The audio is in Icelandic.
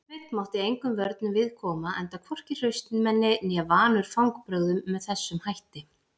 Sveinn mátti engum vörnum við koma enda hvorki hraustmenni né vanur fangbrögðum með þessum hætti.